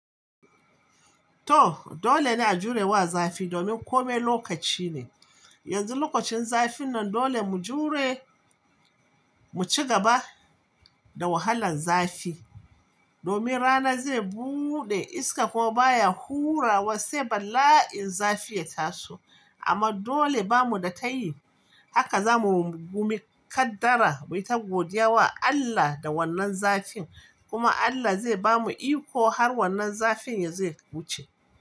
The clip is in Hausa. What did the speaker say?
To dole ne a jure wa zafi domin kome lokaci ne. Yanzu lokacin zafin nan dole mu jure, mu ci gaba da wahalan zafi domin rana zai buɗe iska kuma baya hura wa sai bala'in zafi ya taso. Amma dole bamu da tayi haka zamu gumikkadara, mu yi tagodiya wa Allah da wannan zafin kuma Allah zai bamu iko har wannan zafin ya dace.